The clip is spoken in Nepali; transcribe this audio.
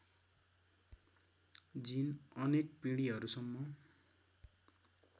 जिन अनेक पिँढिहरूसम्म